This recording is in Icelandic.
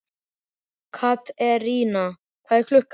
Katerína, hvað er klukkan?